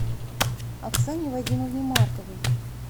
оксане вадимовне марковой